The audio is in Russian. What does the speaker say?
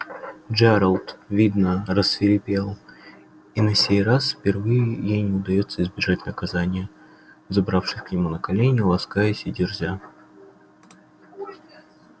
джералд видно рассвирепел и на сей раз впервые ей не удастся избежать наказания забравшись к нему на колени ласкаясь и дерзя